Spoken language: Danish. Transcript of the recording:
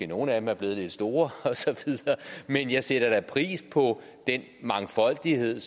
nogle af dem er blevet lidt store osv men jeg sætter pris på mangfoldigheden